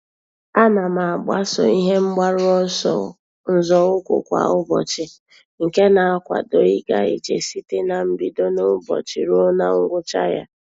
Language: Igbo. A na m agbaso ihe mgbaru ọsọ nzọụkwụ kwa ụbọchị nke na-akwado ịga ije site na mbido n'ụbọchị ruo na ngwụcha ya.